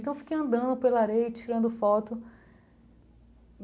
Então eu fiquei andando pela areia e tirando foto.